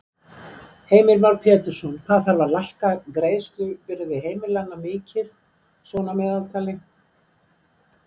Heimir Már Pétursson: Hvað þarf að lækka greiðslubyrði heimilanna mikið svona að meðaltali?